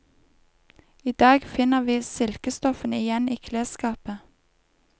I dag finner vi silkestoffene igjen i klesskapet.